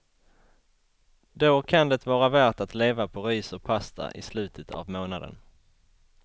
Då kan det vara värt att leva på ris och pasta i slutet av månaden.